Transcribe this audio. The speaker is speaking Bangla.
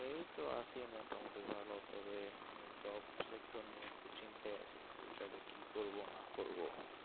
এই তো আছি মোটা মুটি ভালো তবে job sector নিয়ে একটু চিন্তায় আছি future এ কি করবো না করবো